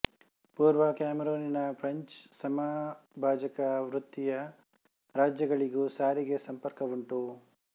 ಪೂರ್ವ ಕ್ಯಾಮರೂನಿಗೂ ಫ್ರೆಂಚ್ ಸಮಭಾಜಕ ವೃತ್ತೀಯ ರಾಜ್ಯಗಳಿಗೂ ಸಾರಿಗೆ ಸಂಪರ್ಕವುಂಟು